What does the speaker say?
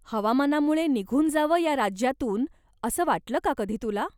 हवामानामुळे निघून जावं या राज्यातून असं वाटलं का कधी तुला?